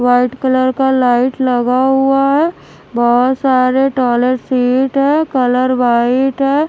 White colour का light लगा हुआ है बहोत सारे टॉयलेट सीट है कलर व्हाइट है।